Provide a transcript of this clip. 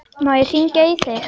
Má ég hringja í þig?